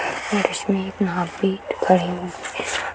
और इसमें एक --